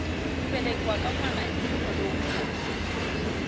ku velekiwa ka nwana i nkhuvo lowukulu